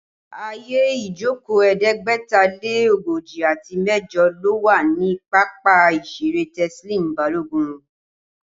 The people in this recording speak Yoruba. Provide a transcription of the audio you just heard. Ààyè ìjókòó ẹ̀ẹ́dẹ́gbẹ̀ta lé ogójì àti mẹ́jọ ló wà ní pápá ìṣeré Teslim Balogun